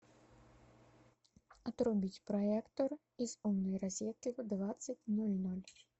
отрубить проектор из умной розетки в двадцать ноль ноль